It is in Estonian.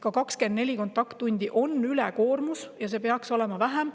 Ka 24 kontakttundi on ülekoormus ja neid tunde peaks olema vähem.